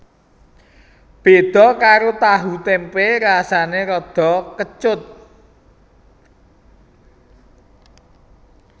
Béda karo tahu témpé rasané rada kecut